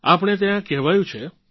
આપણે ત્યાં કહેવાયું છે